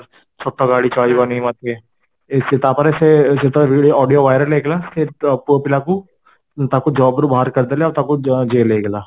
ଛୋଟ ଗାଡି ଚାଲିବନି ମତେ ସେ ତାପରେ ସେ audio viral ହେଇଗଲା ସେଇ ପୁଅ ପିଲାକୁ, ତାକୁ job ରୁ ବାହାର କରିଦେଲେ ଆଉ ତାକୁ jail ହେଇଗଲା